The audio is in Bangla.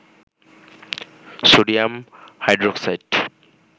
sodium hydroxide